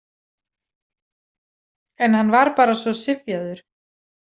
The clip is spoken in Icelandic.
En hann var bara svo syfjaður.